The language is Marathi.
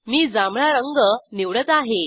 मी जांभळा रंग निवडत आहे